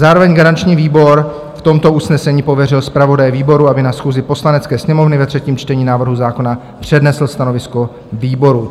Zároveň garanční výbor v tomto usnesení pověřil zpravodaje výboru, aby na schůzi Poslanecké sněmovny ve třetím čtení návrhu zákona přednesl stanovisko výboru.